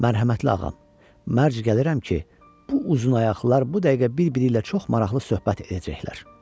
Mərhəmətli ağam, mərc gəlirəm ki, bu uzunaqılar bu dəqiqə bir-biri ilə çox maraqlı söhbət edəcəklər.